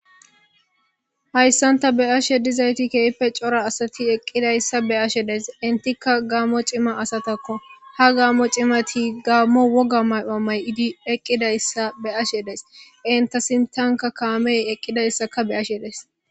Hayssanta be ashe dizayti keype cora asati eqqidayssa be ashe des intikka gaammo cima asatakko ha gaammo cimati gaammo woga may'amay idi eqqidayssa be ashe des inta sintanka kaamey eqqidayssaka beashe des.